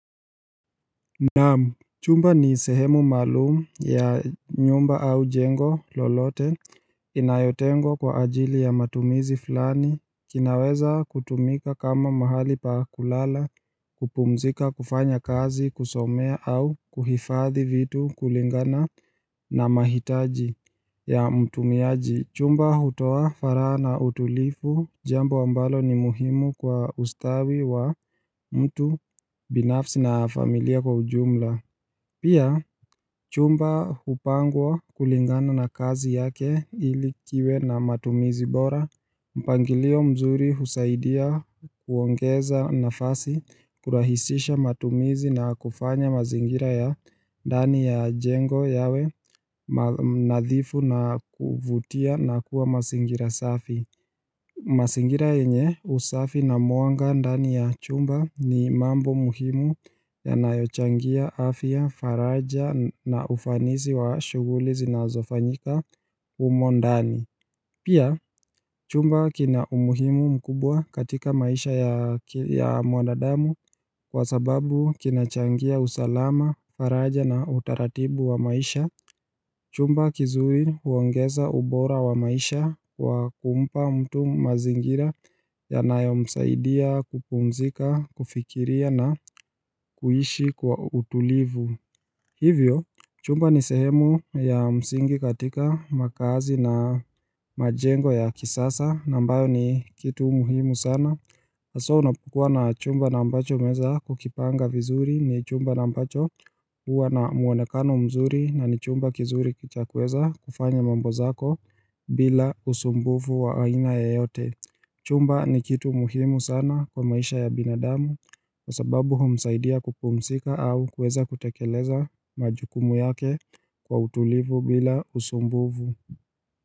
Naam chumba ni sehemu maalumu ya nyumba au jengo lolote inayotengwa kwa ajili ya matumizi fulani kinaweza kutumika kama mahali pa kulala, kupumzika, kufanya kazi, kusomea au kuhifadhi vitu kulingana na mahitaji ya mtumiaji Chumba hutoa faragha na utulifu jambo ambalo ni muhimu kwa ustawi wa mtu binafsi na familia kwa ujumla Pia chumba hupangwa kulingana na kazi yake ili kiwe na matumizi bora mpangilio mzuri husaidia kuongeza nafasi kurahisisha matumizi na kufanya mazingira ya ndani ya jengo yawe nadhifu na kuvutia na kuwa mazingira safi mazingira yenye usafi na mwanga ndani ya chumba ni mambo muhimu ya yanayochangia afya, faraja na ufanisi wa shuguli zinazofanyika humo ndani Pia chumba kina umuhimu mkubwa katika maisha ya mwanadamu kwa sababu kina changia usalama, faraja na utaratibu wa maisha Chumba kizuri huongeza ubora wa maisha kwa kumpa mtu mazingira yanayo msaidia kupumzika, kufikiria na kuishi kwa utulivu. Hivyo, chumba ni sehemu ya msingi katika makaazi na majengo ya kisasa, ambayo ni kitu muhimu sana. Haswa unapokuwa na chumba na ambacho umeweza kukipanga vizuri ni chumba na ambacho uwa na muonekano mzuri na ni chumba kizuri cha kuweza kufanya mambo zako bila usumbuvu wa aina ya yote. Chumba ni kitu muhimu sana kwa maisha ya binadamu kwa sababu humsaidia kupumzika au kuweza kutekeleza majukumu yake kwa utulivu bila usumbuvu.